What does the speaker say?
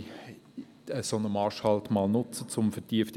Die Gründe dafür habe ich bereits erwähnt.